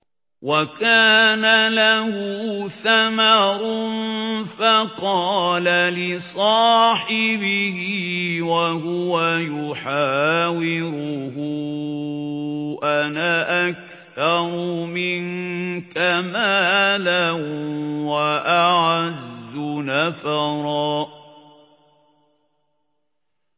وَكَانَ لَهُ ثَمَرٌ فَقَالَ لِصَاحِبِهِ وَهُوَ يُحَاوِرُهُ أَنَا أَكْثَرُ مِنكَ مَالًا وَأَعَزُّ نَفَرًا